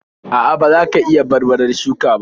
.A'a, ba za ka iya barbarar shuka ba.